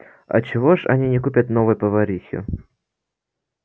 а чего ж они не купят новой поварихи